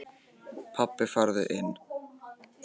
Pabbi farðu inn!